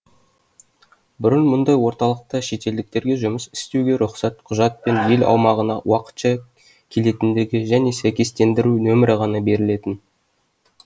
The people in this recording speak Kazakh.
бұрын мұндай орталықта шетелдіктерге жұмыс істеуге рұқсат құжат пен ел аумағына уақытша келетіндерге сәйкестендіру нөмірі ғана берілетін